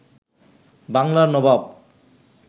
বাংলার নবাব